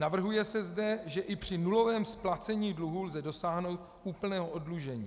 Navrhuje se zde, že i při nulovém splacení dluhů lze dosáhnout úplného oddlužení.